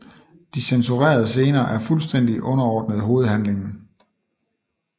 De censurerede scener er fuldstændigt underordnede hovedhandlingen